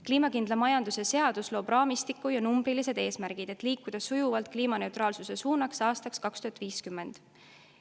Kliimakindla majanduse seadus loob raamistiku ja numbrilised eesmärgid, et liikuda sujuvalt kliimaneutraalsuse suunas aastaks 2050.